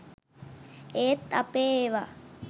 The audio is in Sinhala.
ඒත් අපේ ඒවා